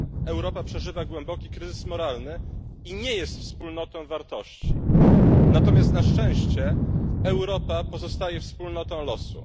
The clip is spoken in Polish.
Europa przeżywa głęboki kryzys moralny i nie jest wspólnotą wartości, natomiast na szczęście Europa pozostaje wspólnotą losu.